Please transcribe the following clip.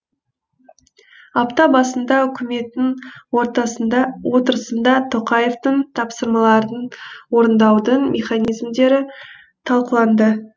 апта басында үкіметтің отырысында тоқаевтың тапсырмаларын орындаудың механизмдері талқыланды